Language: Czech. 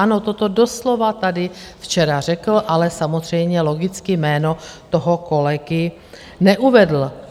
Ano, toto doslova tady včera řekl, ale samozřejmě logicky jméno toho kolegy neuvedl.